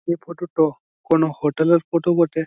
এই ফটো টো কোনো হোটেল এর ফটো বটে।